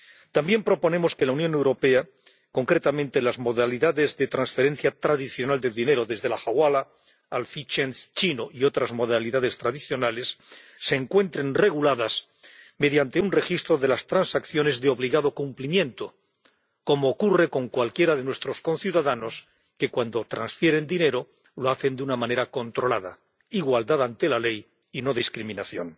También proponemos que, en la Unión Europea, concretamente las modalidades de transferencia tradicional de dinero, desde la hawala al fei ch'ien chino y otras modalidades tradicionales, se encuentren reguladas mediante un registro de las transacciones de obligado cumplimiento, como ocurre con cualquiera de nuestros conciudadanos, que, cuando transfieren dinero, lo hacen de una manera controlada igualdad ante la ley y no discriminación.